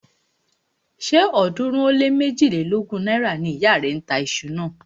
Ṣé ọ̀ọ́dúnrún ó lé méjilélógún náírà ni ìyá rẹ̀ ń tà iṣu náà?